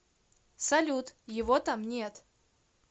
салют его там нет